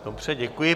Dobře, děkuji.